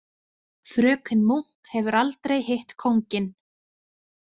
Fröken Munk hefur aldrei hitt kónginn.